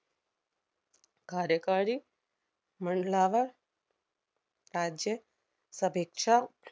कार्यकारी मंडलावर राज्य सभेच्या